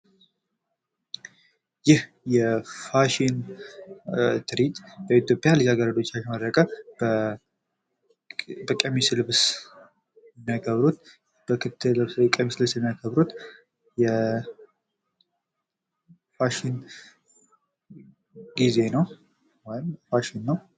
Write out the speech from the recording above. ይህ የፋሽን ትርኢት በኢትዮጵያ ልጃገረዶች በቀሚስ ልብስ የሚያቀርቡት በክት ልብስ ወይም ቀሚስ ልብስ የሚያቀርቡት ፋሽን ጊዜ ነዉ።